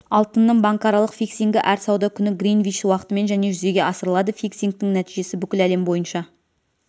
алтынның банкаралық фиксингі әр сауда күні гринвич уақытымен және жүзеге асырылады фиксингтің нәтижесі бүкіл әлем бойынша